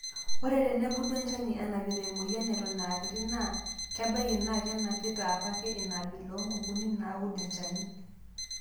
Ore tenebulu enchani enapita emoyian Eton aakiti naa kebaiki naa kenapita apake inaabila oo nkukuni naaud nchani.